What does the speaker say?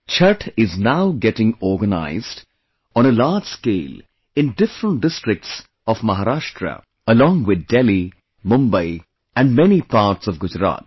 Chhath is now getting organized on a large scale in different districts of Maharashtra along with Delhi, Mumbai and many parts of Gujarat